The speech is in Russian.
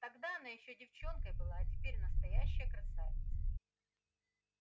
тогда она ещё девчонкой была а теперь настоящая красавица